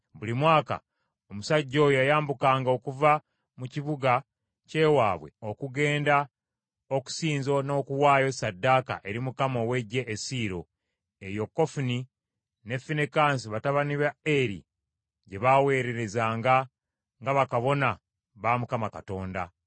Buli mwaka omusajja oyo yayambukanga okuva mu kibuga ky’ewaabwe okugenda okusinza n’okuwaayo ssaddaaka eri Mukama ow’Eggye e Siiro . Eyo Kofuni ne Finekaasi batabani ba Eri gye baawererezanga nga bakabona ba Mukama Katonda.